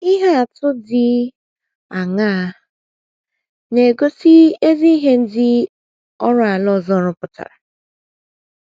Ihe um atụ ndị dị aṅaa um na - egosi ezi ihe ndị oru ala ọzọ rụpụtara?